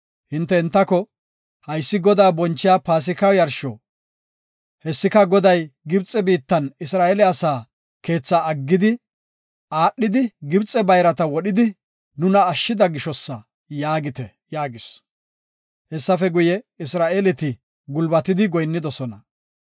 hinte entako, ‘Haysi Godaa bonchiya Paasika yarsho. Hessika Goday Gibxe biittan Isra7eele asa keethaa aggidi, aadhidi, Gibxe bayrata wodhidi, nuna ashshida gishosa’ yaagite” yaagis. Hessafe guye, Isra7eeleti gulbatidi goyinnidosona.